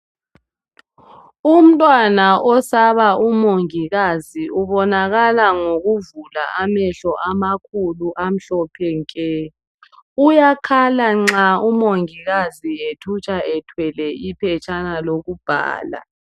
Umntwana osaba umongikazi ubonakala ngokuvula amahlo amakhulu amahlophe nke. Uyakhala nxa umongikazi ethutsha ethwele iphetshana lokubhala.